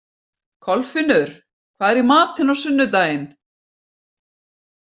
Kolfinnur, hvað er í matinn á sunnudaginn?